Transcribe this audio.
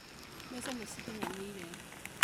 Mbeca nĩ cikinyanĩire